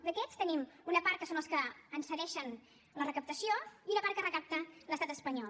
d’aquests en tenim una part que són els que ens en cedeixen la recaptació i una part que recapta l’estat espanyol